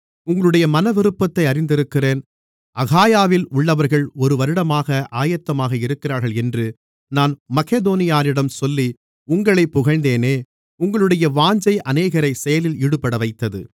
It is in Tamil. உங்களுடைய மனவிருப்பத்தை அறிந்திருக்கிறேன் அகாயாவில் உள்ளவர்கள் ஒருவருடமாக ஆயத்தமாக இருக்கிறார்கள் என்று நான் மக்கெதோனியரிடம் சொல்லி உங்களைப் புகழ்ந்தேனே உங்களுடைய வாஞ்சை அநேகரை செயலில் ஈடுபடவைத்தது